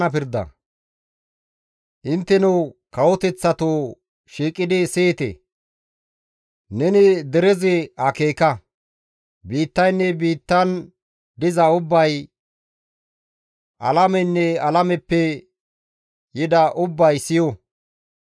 Intteno kawoteththatoo shiiqidi siyite! Neni derezi akeeka! Biittaynne biittan diza ubbay, alameynne alameppe yida ubbay siyo!